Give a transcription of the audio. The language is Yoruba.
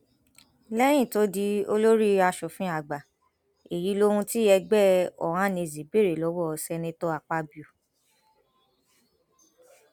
lẹyìn tó di olórí asòfin àgbà èyí lohun tí ẹgbẹ ohanaeze béèrè lọwọ seneto akpabio